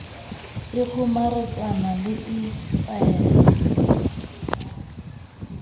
e kgomaretsang le e kwahelang